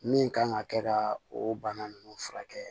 Min kan ka kɛ ka o bana ninnu furakɛ